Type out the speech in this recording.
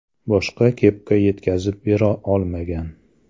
Boshqa kepka yetkazib bera olmagan.